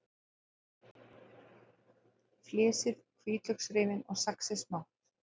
Flysjið hvítlauksrifin og saxið smátt.